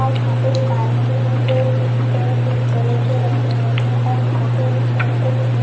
और यहां पे दुकानें भी है जो चिप्स कुरकुरे के रखे हुए हैं और यहां पे ऊंचे ऊंचे गहने--